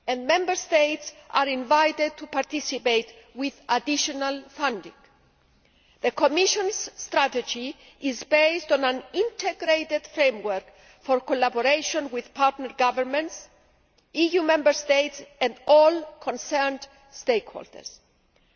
Member States are invited to participate with additional funding. The Commission's strategy is based on an integrated framework for collaboration with partner governments, EU Member States and all the stakeholders concerned.